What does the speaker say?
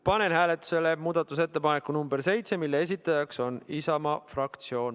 Panen hääletusele muudatusettepaneku nr 7, mille esitaja on Isamaa fraktsioon.